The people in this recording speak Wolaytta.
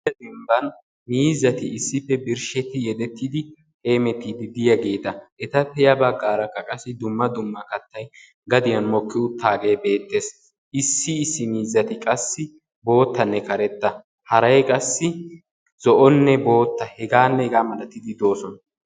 Dembban miizzati issippe birshshetti yedettidi hemettiiddi diyaageta. Etappe ya baggarakka dumma dumma kattay gadiyan mokki uttaave beettees. Issi issi miizzati qassi boottanne karetta , haray qassi zo'onne boottaa hegaanne hega malatidi de'oosona.